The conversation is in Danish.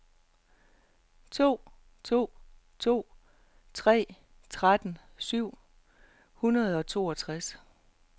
to to to tre tretten syv hundrede og tooghalvtreds